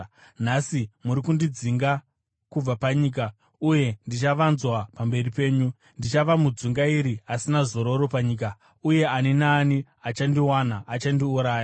Nhasi muri kundidzinga kubva panyika, uye ndichavanzwa pamberi penyu; ndichava mudzungairi asina zororo panyika, uye ani naani achandiwana achandiuraya.”